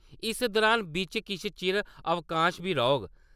इस दुरान बिच्च किश चिर अवकाश बी रौह्ग।